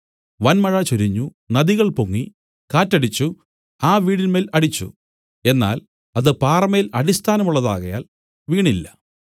വന്മഴ ചൊരിഞ്ഞു നദികൾ പൊങ്ങി കാറ്റ് അടിച്ചു ആ വീടിന്മേൽ അടിച്ചു എന്നാൽ അത് പാറമേൽ അടിസ്ഥാനമുള്ളതാകയാൽ വീണില്ല